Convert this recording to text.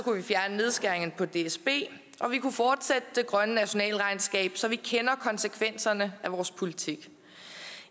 nedskæringerne på dsb og vi kunne fortsætte det grønne nationalregnskab så vi kender konsekvenserne af vores politik